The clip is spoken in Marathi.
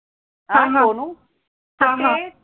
म्हणून हा मग